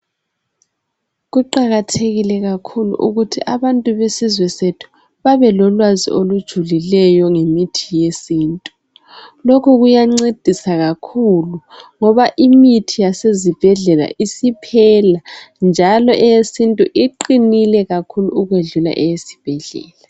Kuqakathekile ukuthi abantu besizwe sethu babelolwazi olujulileyo ngemithi yesintu lokhu kuyancedisa kakhulu ngoba imithi yase zibhedlela isiphela njalo eyesintu iqinile kakhulu okwedlula eyesibhedlela.